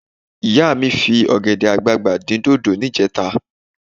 Ìyá mi fi ọ̀gẹ̀dẹ̀ àgbagbà dín dòdò níjẹta